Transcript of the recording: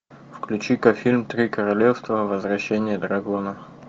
включи ка фильм три королевства возвращение дракона